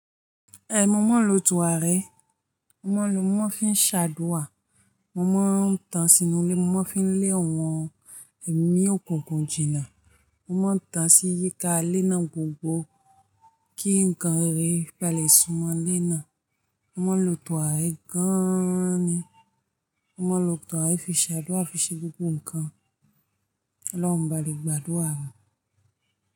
Ẹ̀ mọ̀mọ́ lo turarẹ, mọ̀mọ́ lo mọ̀ fí ń ṣàdúà, mọ̀mọ́ ń tàn sínú ilé, mọ̀mọ́ fí ń lé àwọn ẹ̀mí okunkun gùn jìnà, mọ̀mọ́ ń tàn sí yíká léná gbogbo kí nǹkan re balẹ́ súnmọ́ léná, mọ̀mọ́ lo turàrẹ gan-an ni, mọ̀mọ́ lo tàn ẹ fi ṣàdúà fi ṣé gbogbo nǹkan lọ́hùn bá le gbàdúà rẹ̀.